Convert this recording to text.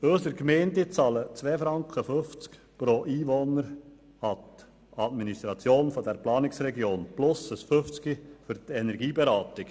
Unsere Gemeinden bezahlen 2,5 Franken pro Einwohner an die Administration der Planungsregion und zusätzlich 50 Rappen für die Energieberatung.